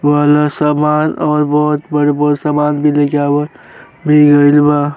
वो वाला सवाल और बहुत गरबर सवाल लेके गईल बा।